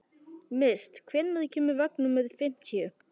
Mist, hvenær kemur vagn númer fimmtíu?